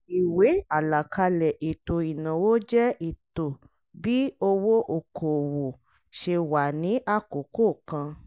ìwé àlàkalẹ̀ ètò ìnáwó jẹ́ ètó bí owó okòòwò ṣe wà ní àkókò kan.